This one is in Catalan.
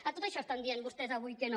a tot això estan dient vostès avui que no